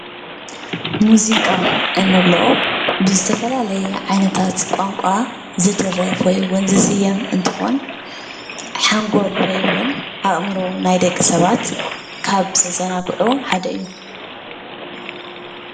ሙዚቃ እንብሎ ብዝተፈላለየ ዓይነታት ቋንቋ ዝድረፍ ወይ ዉን ዝዝየም እንትኾን ሓንጎል ወይ እውን አእምሮ ናይ ደቂ ሰባት ካብ ዘዘናግዑ ሓደ እዩ።